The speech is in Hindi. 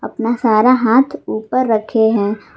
अपना सारा हाथ ऊपर रखे हैं।